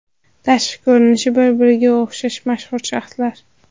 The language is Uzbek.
Tashqi ko‘rinishi bir-biriga o‘xshash mashhur shaxslar.